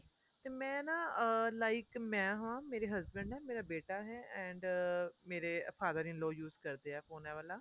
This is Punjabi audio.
ਤੇ ਮੈਂ ਨਾ ਅਹ like ਮੈਂ ਹਾਂ ਮੇਰੇ husband ਏ ਮੇਰਾ ਬੇਟਾ ਹੈ and ਮੇਰੇ father in law use ਕਰਦੇ ਏ phone ਇਹ ਵਾਲਾ